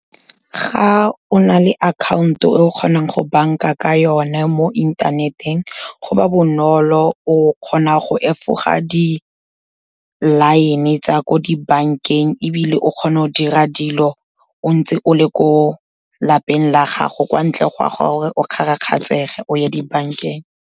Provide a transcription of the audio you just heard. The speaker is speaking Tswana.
Ga o na le account-o e o kgonang go banka ka yone mo inthaneteng, go ba bonolo o kgona go efoga di-line-e tsa ko dibankeng ebile o kgona go dira dilo o ntse o le ko lapeng la gago, kwa ntle ga gore o kgarakgatshege o ye ko dibankeng.